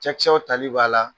Cɛkisɛw tali b'a la.